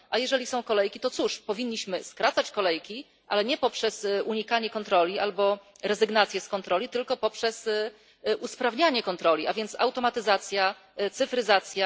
A jeżeli są kolejki, to cóż powinniśmy skracać kolejki, ale nie poprzez unikanie kontroli albo rezygnację z kontroli, tylko poprzez usprawnianie kontroli, a więc automatyzację, cyfryzację.